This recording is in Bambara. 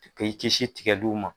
K'i kisi tigɛliw ma